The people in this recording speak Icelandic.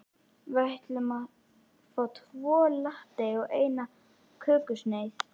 Við ætlum að fá tvo latte og eina kökusneið.